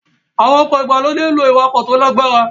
Àwọn ọkọ̀ ìgbàlódé ń lo ìwakò tó lágbára